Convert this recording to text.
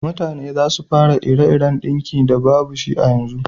Mutane za su fara ire-iren dinki da babu shi a yanzu